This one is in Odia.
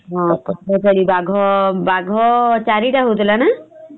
ହଁ ବାଘ ବାଘ ବାଘ ଚାରି ଟା ହଉଥିଲା ନା ?